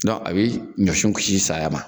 Dɔn a be ɲɔsiw kisi saya ma